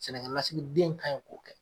Sɛnɛkɛlasigiden kanyi k'o kɛ.